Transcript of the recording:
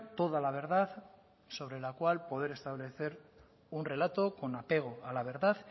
toda la verdad sobre la cual poder establecer un relato con apego a la verdad